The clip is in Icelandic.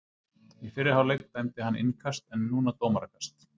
Í fyrri hálfleik dæmdi hann innkast en núna dómarakast.